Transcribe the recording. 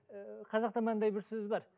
ііі қазақта мынандай бір сөз бар